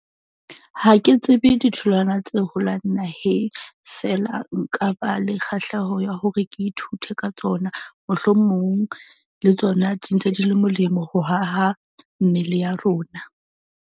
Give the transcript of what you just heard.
Ha ke tsebe ditholwana tse holang naheng feela, nka ba le kgahleho ya hore ke ithute ka tsona mohlomong, le tsona di ntse di le molemo ho haha mmele ya rona.